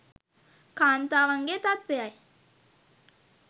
කාන්තාවගේ තත්ත්වයයි.